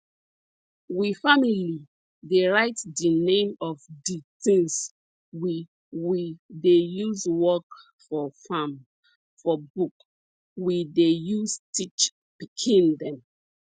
we family dey write di name of di tins we we dey use work for farm for book we dey use teach pikin dem